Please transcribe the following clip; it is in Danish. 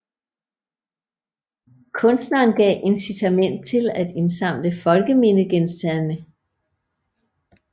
Kunstneren gav incitament til at indsamle folkemindegenstande